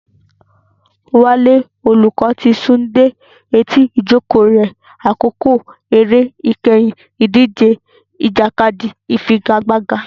Wale, olùkọ́, ti sún dé etí ìjókòó rẹ̀ ní àkókò eré ìkẹyìn ìdíje ìjàkadì ìfigagbága.